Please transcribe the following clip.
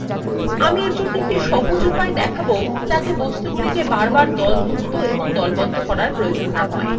আমি এর একটি সহজ উপায় দেখাবো যাতে বস্তুগুলি দলমুক্ত এবং দলবদ্ধ করার প্রয়োজন না হয়